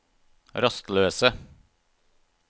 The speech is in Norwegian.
rastløse